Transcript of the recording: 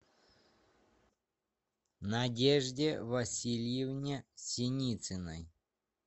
надежде васильевне синицыной